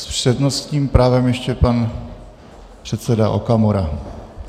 S přednostním právem ještě pan předseda Okamura.